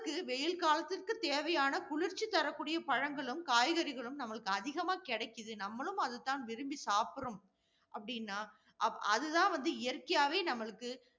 வெயில் காலத்திற்கு தேவையான குளிர்ச்சி தரக்கூடிய பழங்களும், காய்கறிகளும் நம்மளுக்கு அதிகமா கெடைக்குது. நம்மளும் அதைத்தான் விரும்பி சாப்பிடுறோம், அப்படின்னா, அதுதான் வந்து இயற்கையாகவே நம்மளுக்கு